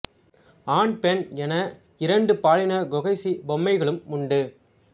ஆண் பெண் என இரண்டு பாலின கொகஷி பொம்மைகளும் உண்டு